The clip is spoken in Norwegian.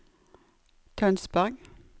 Tønsberg